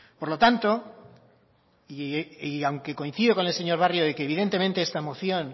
por lo tanto y aunque coincido con el señor barrio de que evidentemente esta moción